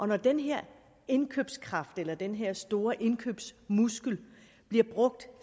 når den her indkøbskraft eller den her store indkøbsmuskel bliver brugt